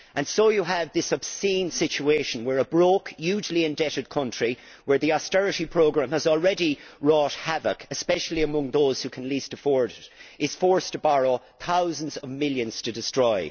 So you have this obscene situation where a broke, hugely indebted country, where the austerity programme has already wrought havoc, especially among those who can least afford it, is forced to borrow thousands of millions to destroy.